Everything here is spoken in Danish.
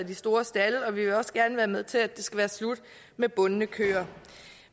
de store stalde og vi vil også gerne være med til at det skal være slut med bundne køer